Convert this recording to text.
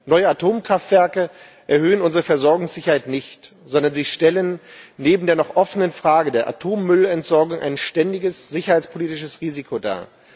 Neue Atomkraftwerke erhöhen unsere Versorgungssicherheit nicht, sondern stellen neben der noch offenen Frage der Atommüllentsorgung ein ständiges sicherheitspolitisches Risiko dar.